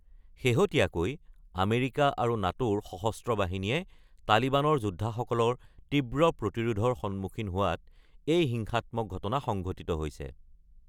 শেহতীয়াকৈ আমেৰিকা আৰু নাটোৰ সশস্ত্ৰ বাহিনীয়ে তালিবানৰ যোদ্ধাসকলৰ তীব্ৰ প্ৰতিৰোধৰ সন্মুখীন হোৱাত এই হিংসাত্মক ঘটনা সংঘটিত হৈছে।